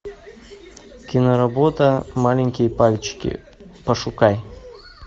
киноработа маленькие пальчики пошукай